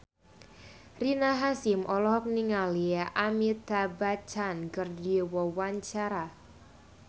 Rina Hasyim olohok ningali Amitabh Bachchan keur diwawancara